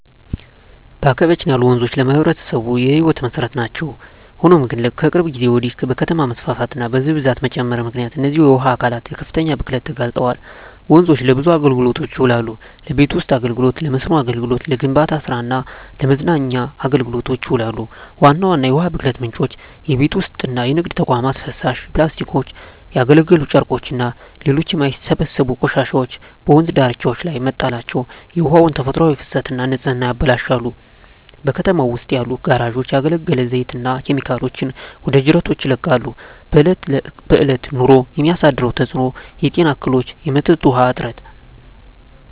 በአካባቢያችን ያሉ ወንዞች ለማኅበረሰቡ የሕይወት መሠረት ናቸው። ሆኖም ግን፣ ከቅርብ ጊዜ ወዲህ በከተማ መስፋፋትና በሕዝብ ብዛት መጨመር ምክንያት እነዚህ የውሃ አካላት ለከፍተኛ ብክለት ተጋልጠዋል። ወንዞች ለብዙ አገልግሎቶች ይውላሉ። ለቤት ውስጥ አገልግሎ፣ ለመስኖ አገልግሎት፣ ለግንባታ ስራ እና ለመዝናኛ አገልግሎቶች ይውላሉ። ዋና ዋና የውሃ ብክለት ምንጮች:- የቤት ውስጥና የንግድ ተቋማት ፍሳሽ፣ ፕላስቲኮች፣ ያገለገሉ ጨርቆችና ሌሎች የማይበሰብሱ ቆሻሻዎች በወንዝ ዳርቻዎች ላይ መጣላቸው የውሃውን ተፈጥሯዊ ፍሰትና ንጽህና ያበላሻሉ። በከተማው ውስጥ ያሉ ጋራዦች ያገለገለ ዘይትና ኬሚካሎችን ወደ ጅረቶች ይለቃሉ። በእለት በእለት ኑሮ የሚያሳድረው ተጽኖ:- የጤና እክሎች፣ የመጠጥ ውሀ እጥረት…